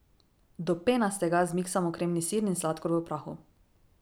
Do penastega zmiksamo kremni sir in sladkor v prahu.